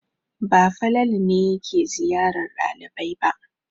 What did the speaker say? Ba Falalu ne yake ziyarar ɗalibai ba.